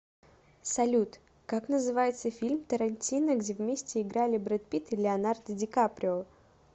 салют как называется фильм тарантино где вместе играли брэд питт и леонардо ди каприо